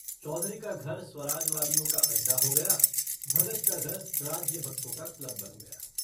चौधरी का धर स्वराज्यवादियों का अड्डा हो गया भगत का घर राज्यभक्तों का क्लब बन गया।